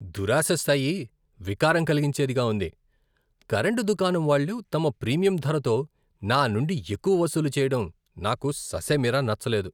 దురాశ స్థాయి వికారం కలిగించేదిగా ఉంది! కరెంటు దుకాణం వాళ్ళు తమ ప్రీమియం ధరతో నానుండి ఎక్కువ వసూలు చేయడం నాకు ససేమిరా నచ్చలేదు.